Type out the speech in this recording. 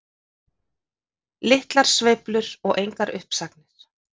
Litlar sveiflur og engar uppsagnir